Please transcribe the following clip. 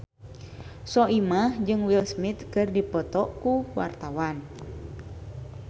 Soimah jeung Will Smith keur dipoto ku wartawan